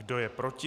Kdo je proti?